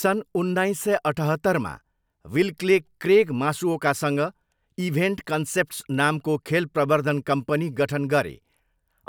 सन् उन्नाइस सय अठहत्तरमा, विल्कले क्रेग मासुओकासँग इभेन्ट कन्सेप्ट्स नामको खेल प्रवर्द्धन कम्पनी गठन गरे